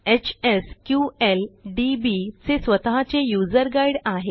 HSQLDB चे स्वतःचे user guide आहे